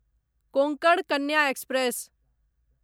Konkan Kanya express